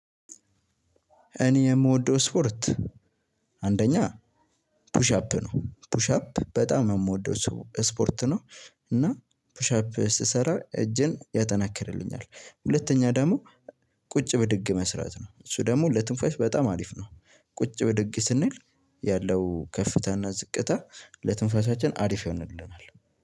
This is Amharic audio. እኔ የምወደው ስፖርት አንደኛ ፑሽ አፕ ነው ፑሽ አፕ በጣም የምወደው ሰው ስፖርት ነው። እና ፑሻፕ ስትሰራ እጅን ያጠናክርልኛል ሁለተኛ ደግሞ ቁጭ ብድግ መስራት ነው። እሱ ደግሞ ለትንፋሽ በጣም አሪፍ ነው። ቁጭ ብድግ ስንል ያለው ከፍታ እና ዝቅታ ለትንፋሻችን አሪፍ ይሆንልናል።